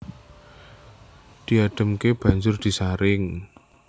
Diadhemke banjur disaring